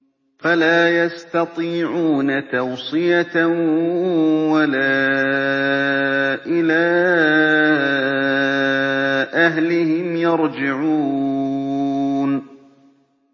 فَلَا يَسْتَطِيعُونَ تَوْصِيَةً وَلَا إِلَىٰ أَهْلِهِمْ يَرْجِعُونَ